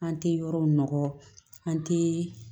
An tɛ yɔrɔ nɔgɔ an tɛ